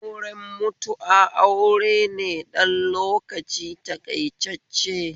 Auren mutu'a aure ne ɗan lokaci taƙaitacce